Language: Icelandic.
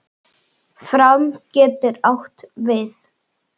Fram getur átt við